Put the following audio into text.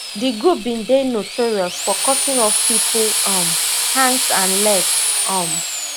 di group bin dey notorious for cutting off pipo um hands and legs um